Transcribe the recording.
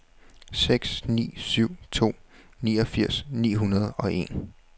seks ni syv to niogfirs ni hundrede og en